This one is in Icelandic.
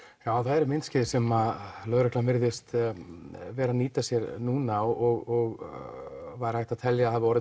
já það eru myndskeið sem lögreglan virðist vera að nýta sér núna og væri hægt að telja að hafi orðið